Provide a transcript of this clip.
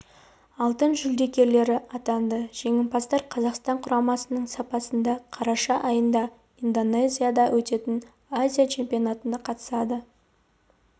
алтын жүлдегерлері атанды жеңімпаздар қазақстан құрамасының сапында қараша айында индонезия да өтетін азия чемпионатына қатысады